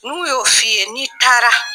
Mu y'o fi ye n'i taara.